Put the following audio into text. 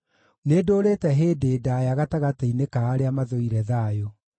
Nĩndũũrĩte hĩndĩ ndaaya gatagatĩ-inĩ ka arĩa mathũire thayũ.